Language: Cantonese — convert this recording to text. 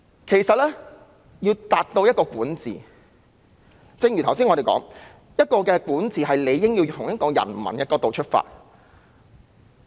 其實說到管治，正如我們剛才說，管治理應從人民的角度出發。